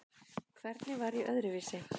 Hvernig var ég öðruvísi?